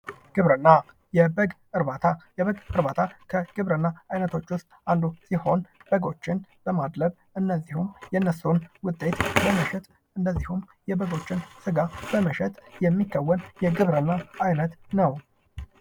ግብርና፤ የበግ እርባታ፦ የበግ እርባታ ከግብርና አይነቶች ውስጥ አንዱ ሲሆን በጎችን በማድለብ እንደዚሁም የእነሱን ውጤት በመሸጥ እንደዚሁም የበጎችን ስጋ በመሸጥ የሚከወን የግብርና አይነት ነው።